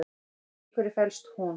Í hverju felst hún?